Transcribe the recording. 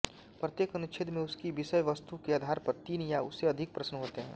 प्रत्येक अनुच्छेद में उसकी विषयवस्तु के आधार पर तीन या उससे अधिक प्रश्न होते हैं